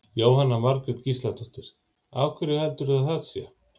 Jóhanna Margrét Gísladóttir: Af hverju heldurðu að það sé?